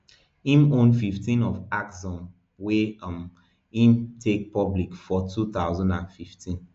im own fifteen of axsome wey um im take public for two thousand and fifteen